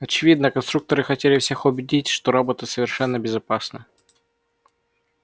очевидно конструкторы хотели всех убедить что роботы совершенно безопасны